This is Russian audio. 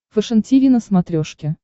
фэшен тиви на смотрешке